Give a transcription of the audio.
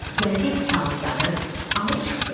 Gəldiyev kağızları alıb çıxdı.